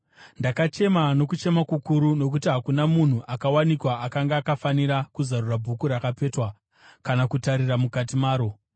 Ndakachema nokuchema kukuru nokuti hakuna munhu akawanikwa akanga akafanira kuzarura bhuku rakapetwa kana kutarira mukati maro.